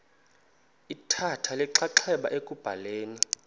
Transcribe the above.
lithatha inxaxheba ekubhaleni